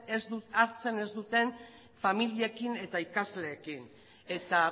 hartzen ez duten familiekin eta ikasleekin eta